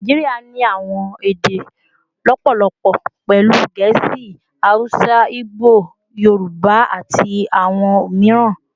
Naijiria ni awọn ede lọpọlọpọ, pẹlu Gẹẹsi, Hausa, Igbo, Yoruba, ati awọn miiran